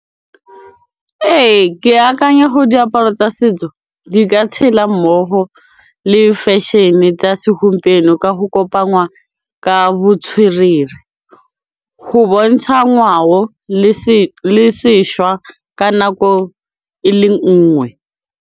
Ee, ke akanya go diaparo tsa setso di ka tshela mmogo le fashion-e tsa segompieno ka go kopa ngwa ka botswerere go bontsha ngwao le sešwa ka nako e le nngwe.